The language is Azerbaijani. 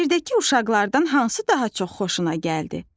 Şeirdəki uşaqlardan hansı daha çox xoşuna gəldi?